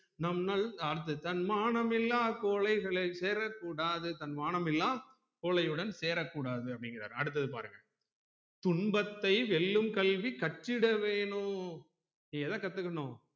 நம் நல் அடுத்து தன்மானம் இல்லா கொழைகளை சேரக்கூடாது தன்மானம் இல்லா கோழையுடன் சேரக்கூடாது அப்புடிங்குராறு அடுத்தது பாருங்க துன்பத்தை வெல்லும் கல்வி கற்றிட வேணும் எத கத்துக்கணும்